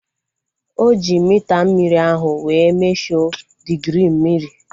O ji mita mmiri ahu wee mesho digirii mmiri